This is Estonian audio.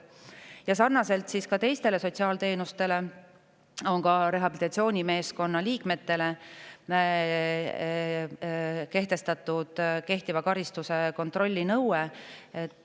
Ja sarnaselt teiste sotsiaalteenustega kehtestame rehabilitatsioonimeeskonna liikmete kehtiva karistuse kontrolli nõude.